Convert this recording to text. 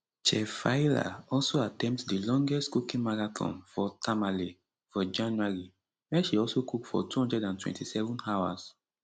chef faila also attempt di longest cooking marathon for tamale for january wia she also cook for 227 hours